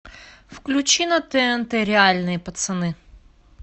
включи на тнт реальные пацаны